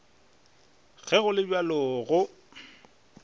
ge go le bjalo go